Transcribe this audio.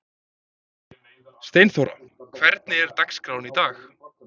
Steinþóra, hvernig er dagskráin í dag?